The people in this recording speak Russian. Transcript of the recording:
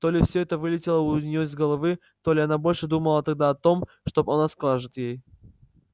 то ли все это вылетело у неё из головы то ли она больше думала тогда о том что она скажет ей